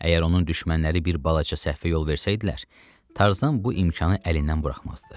Əgər onun düşmənləri bir balaca səhvə yol versəydilər, Tarzan bu imkanı əlindən buraxmazdı.